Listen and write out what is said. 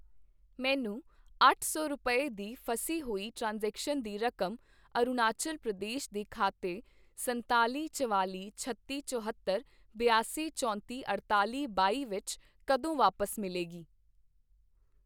ਮੈਨੂੰ ਅੱਠ ਸੌ ਰੁਪਏ, ਦੀ ਫਸੀ ਹੋਈ ਟ੍ਰਾਂਜੈਕਸ਼ਨ ਦੀ ਰਕਮ ਅਰੁਣਾਚੱਲ ਪ੍ਰਦੇਸ਼ ਦੇ ਖਾਤੇ ਸੰਤਾਲ਼ੀ ਚਵਾਲ਼ੀ ਛੱਤੀ ਚੁਹੱਤਰ ਬਿਆਸੀ ਚੌਤੀ ਅੜਤਾਲ਼ੀ ਬਾਈ ਵਿੱਚ ਕਦੋਂ ਵਾਪਸ ਮਿਲੇਗੀ?